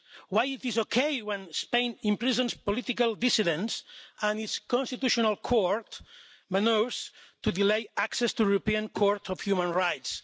Why is it okay when Spain imprisons political dissidents and its constitutional court manoeuvres to delay access to the European Court of Human Rights?